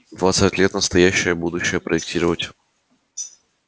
в двадцать лет настоящее слишком настоящее чтобы будущее проектировать